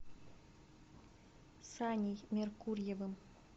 саней меркурьевым